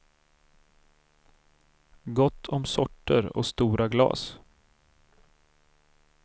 Gott om sorter och stora glas.